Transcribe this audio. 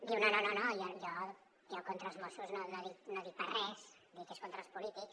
diu no no no no jo contra els mossos no dic pas res és contra els polítics